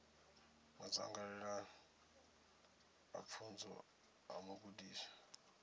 madzangalelo a pfunzo a mugudiswa